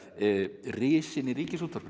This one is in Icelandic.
risinn í Ríkisútvarpinu